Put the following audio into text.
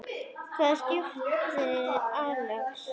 Hvaða skipi, Axel?